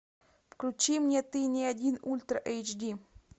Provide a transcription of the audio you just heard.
включи мне ты не один ультра эйч ди